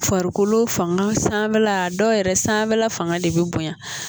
Farikolo fanga sanfɛla dɔw yɛrɛ sanfɛla fanga de be bonya